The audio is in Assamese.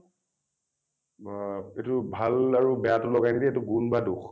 ব এইটো ভাল আৰু বেয়াটো লগাই নিদি এইটো গুণ বা দোষ।